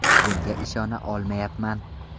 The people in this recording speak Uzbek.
Bunga ishona olmayapman!